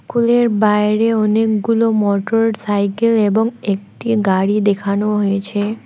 School -এর বাইরে অনেকগুলো মটরসাইকেল এবং একটি গাড়ি দেখানো হয়েছে।